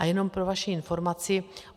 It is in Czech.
A jenom pro vaši informaci.